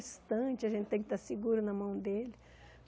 a gente tem que estar segura na mão dEle.